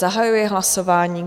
Zahajuji hlasování.